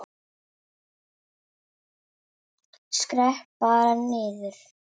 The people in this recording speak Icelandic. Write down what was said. Skrepp bara niður.